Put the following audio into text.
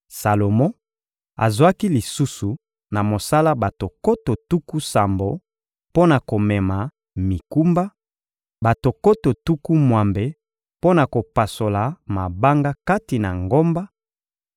Salomo azwaki lisusu na mosala bato nkoto tuku sambo mpo na komema mikumba, bato nkoto tuku mwambe mpo na kopasola mabanga kati na ngomba;